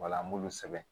Wala an b'u sɛbɛn